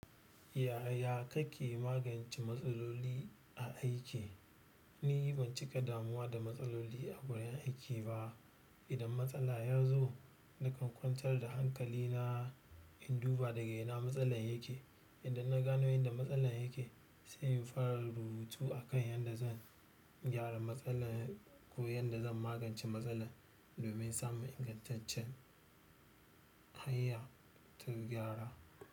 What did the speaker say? Yaya kake magance matsaloli a aiki? Ni ban cika damuwa da matsaloli a wurin aiki ba. Idan matsala ya zo, nakan kwantar da hankalina in duba daga ina matsalar yake. Idan na gano inda matsalan yake, sai in fara rubutu akan yanda zan gyara matsalan ko yadda zan magance matsalar, domin samun ingantaccen hanya ta gyara.